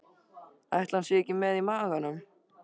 Ætli hann sé ekki með í maganum?